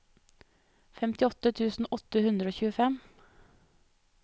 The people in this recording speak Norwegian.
femtiåtte tusen åtte hundre og tjuefem